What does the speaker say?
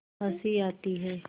हँसी आती है